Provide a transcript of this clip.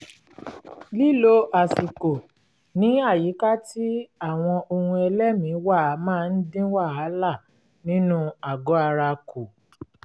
lílo àsìkò ní àyíká tí àwọn ohun-ẹlẹ́mìí wà máa ń dín wàhálà nínú àgọ̀-ara kù